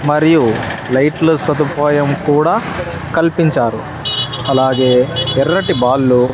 మరియు లైట్లు సదుపాయం కూడా కల్పించారు అలాగే ఎర్రటి బాల్లు .